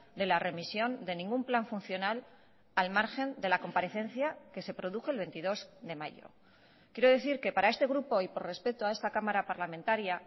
de la remisión de ningún plan funcional al margen de la comparecencia que se produjo el veintidós de mayo quiero decir que para este grupo y por respeto a esta cámara parlamentaria